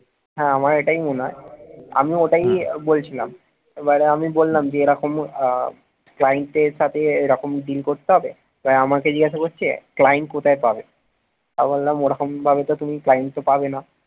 হ্যাঁ আমারও এটাই মনে হয় আমিও ওটাই বলছিলাম এবারে আমি বললাম এরকম আহ client এর সাথে এরকম deal করতে হবে তাই আমাকে জিজ্ঞেস করছে client কোথায় পাব, আমি বললাম ওরকম ভাবে তো তুমি client কে পাবে না